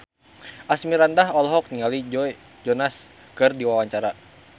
Asmirandah olohok ningali Joe Jonas keur diwawancara